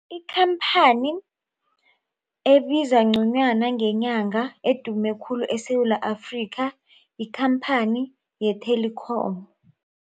Ikhamphani ebiza ngconywana ngenyanga edume khulu eSewula Afrika yikhamphani ye-Telkom.